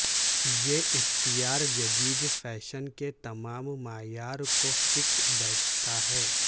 یہ اختیار جدید فیشن کے تمام معیار کو فٹ بیٹھتا ہے